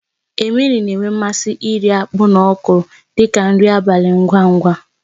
Emily na-enwe mmasị iri akpu na okro dị ka nri abalị ngwa ngwa.